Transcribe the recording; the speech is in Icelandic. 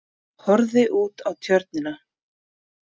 Horfði út á Tjörnina.